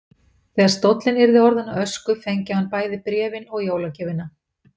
Þegar stóllinn yrði orðinn að ösku fengi hann bæði bréfin og jólagjöfina.